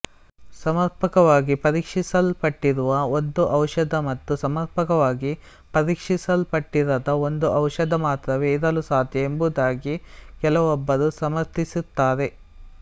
ಸಮರ್ಪಕವಾಗಿ ಪರೀಕ್ಷಿಸಲ್ಪಟ್ಟಿರುವ ಒಂದು ಔಷಧ ಮತ್ತು ಸಮರ್ಪಕವಾಗಿ ಪರೀಕ್ಷಿಸಲ್ಪಟ್ಟಿರದ ಒಂದು ಔಷಧ ಮಾತ್ರವೇ ಇರಲು ಸಾಧ್ಯ ಎಂಬುದಾಗಿ ಕೆಲವೊಬ್ಬರು ಸಮರ್ಥಿಸುತ್ತಾರೆ